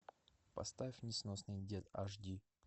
поставь несносный дед аш ди